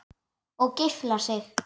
Og geiflar sig.